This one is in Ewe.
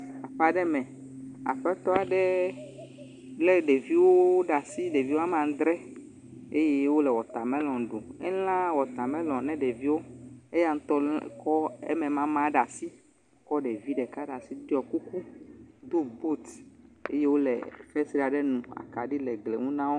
Aƒe aɖe me, aƒetɔ aɖe lé ɖeviwo ɖe asi, ɖeviwo ame adre eye wole wɔtamelɔn ɖum. Elã wɔtamelɔn ne ɖeviwo, eya ŋutɔ kɔ eme mama ɖe asi kɔ ɖevi ɖeka ɖe asi ɖiɔ kuku, do buti eye wole fesre aɖe ŋu. Akaɖi le gli ŋu na wo.